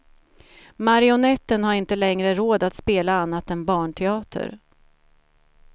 Marionetten har inte längre råd att spela annat än barnteater.